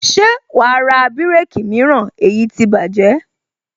Ṣé wàá ra bireki mìíràn èyí ti bájẹ̀